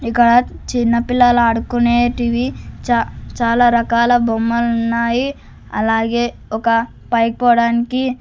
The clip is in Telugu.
ఇక్కడ చిన్న పిల్లలు ఆడుకునేటివి చా-- చాలా రకాల బొమ్మలు ఉన్నాయి అలాగే ఒక పైకి పోవడానికి.